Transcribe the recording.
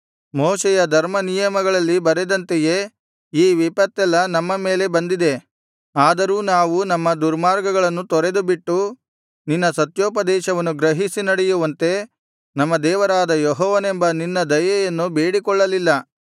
ಮೋಶೆಯ ಧರ್ಮನಿಯಮಗಳಲ್ಲಿ ಬರೆದಂತೆಯೇ ಈ ವಿಪತ್ತೆಲ್ಲಾ ನಮ್ಮ ಮೇಲೆ ಬಂದಿದೆ ಆದರೂ ನಾವು ನಮ್ಮ ದುರ್ಮಾರ್ಗಗಳನ್ನು ತೊರೆದುಬಿಟ್ಟು ನಿನ್ನ ಸತ್ಯೋಪದೇಶವನ್ನು ಗ್ರಹಿಸಿ ನಡೆಯುವಂತೆ ನಮ್ಮ ದೇವರಾದ ಯೆಹೋವನೆಂಬ ನಿನ್ನ ದಯೆಯನ್ನು ಬೇಡಿಕೊಳ್ಳಲಿಲ್ಲ